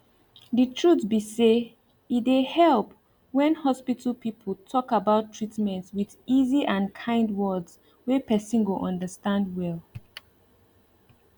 the truth be say e dey help when hospital people talk about treatment with easy and kind words wey person go understand well